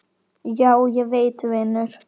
Já, ég veit vinur.